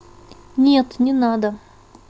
нет не надо